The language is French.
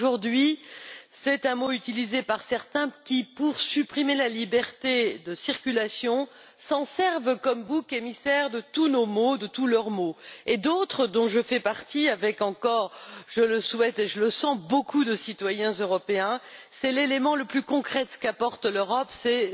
Aujourd'hui, il est utilisé par certains qui, pour supprimer la liberté de circulation, s'en servent comme bouc émissaire de tous nos maux et de tous leurs maux. Pour d'autres, dont je fais partie avec encore je le souhaite et je le sens beaucoup de citoyens européens, c'est l'élément le plus concret qu'apporte l'Europe, c'est